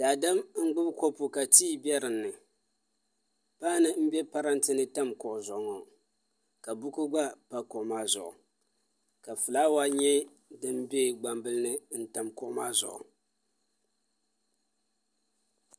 Daadam n gbubi kopu ka tii bɛ dinni paanu n bɛ parantɛ ni tam kuɣu zuɣu ŋo ka buku gba pa kuɣu maa zuɣu ka fulaawa nyɛ din bɛ gbambili ni n tam kuɣu maazuɣu